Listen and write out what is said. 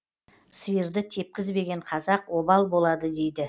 сиырды тепкізбеген қазақ обал болады дейді